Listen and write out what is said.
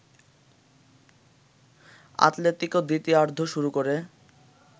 Atletico দ্বিতীয়ার্ধও শুরু করে